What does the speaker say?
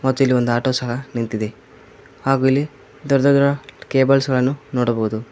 ಮತ್ತು ಇಲ್ಲಿ ಒಂದು ಆಟೋ ಸಹ ನಿಂತಿದೆ ಹಾಗೂ ಇಲ್ಲಿ ದೊಡ್ಡ ದೊಡ್ಡ ಕೇಬಲ್ಸ್ ಗಳನ್ನ ನೋಡಬಹುದು.